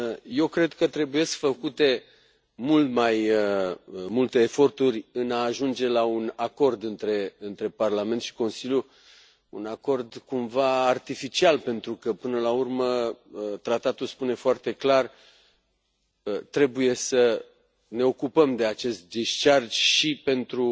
Eu cred că trebuie făcute mult mai multe eforturi în a ajunge la un acord între Parlament și Consiliu, un acord cumva artificial pentru că, până la urmă, tratatul spune foarte clar trebuie să ne ocupăm de acest și pentru